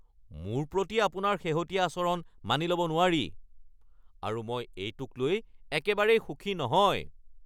মোৰ প্ৰতি আপোনাৰ শেহতীয়া আচৰণ মানি ল'ব নোৱাৰি আৰু মই এইটোক লৈ একেবাৰেই সুখী নহয়।